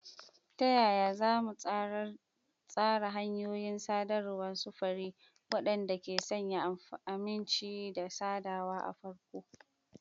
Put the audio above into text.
Ta yaya za mu tsara hanyoyin sadarwar sufuri waɗanda ke sanya aminci da haɗawa a farko?